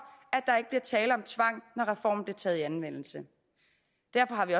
at tale om tvang når reformen bliver taget i anvendelse derfor har vi